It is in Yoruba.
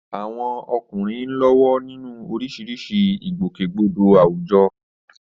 Àwọn ọkùnrin ń lọ́wọ́ nínú oríṣiríṣi ìgbòkègbodò àwùjọ.